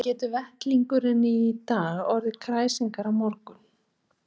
Hvernig getur vellingurinn í dag orðið kræsingar á morgun?